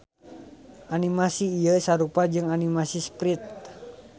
Animasi ieu sarupa jeung animasi sprite.